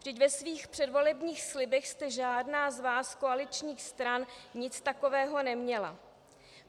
Vždyť ve svých předvolebních slibech jste žádná z vás koaličních stran nic takového neměla.